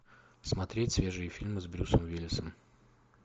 смотреть свежие фильмы с брюсом уиллисом